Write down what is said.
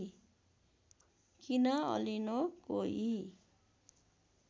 किन अलिनो कोही